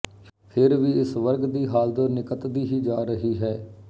ਫਿਰ ਵੀ ਇਸ ਵਰਗ ਦੀ ਹਾਲਤ ਨਿਗਤਦੀ ਹੀ ਜਾ ਰਹੀ ਹੈ